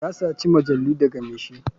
Ya saci majalu daga mai shi.